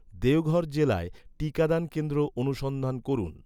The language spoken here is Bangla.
দেওঘর জেলায় টিকাদান কেন্দ্র অনুসন্ধান করুন